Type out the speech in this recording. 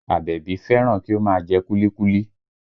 Àbẹ̀bí fẹ́ràn kí ó máa jẹ kúlíkúlí